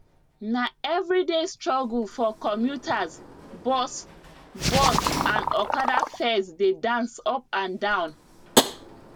na everyday struggle for commuters bus bus and okada fares dey dance up and down